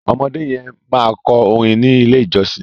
ọmọdé yen ma kọ orin ní ilè ìjósìn.